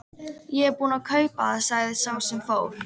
Ég er búinn að kaupa það sagði sá sem fór.